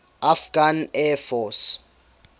afghan air force